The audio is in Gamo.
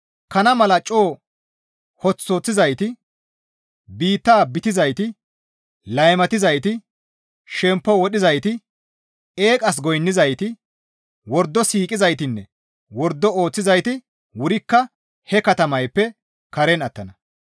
Kana mala coo hoththu hoththizayti, bita bitizayti, laymatizayti, shemppo wodhizayti, eeqas goynnizayti, wordo siiqizaytinne wordo ooththizayti wurikka he katamayppe karen attana.